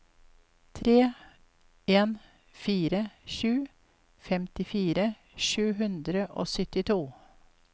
tre en fire sju femtifire sju hundre og syttito